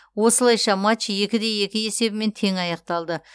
осылайша матч екі де екі есебімен тең аяқталды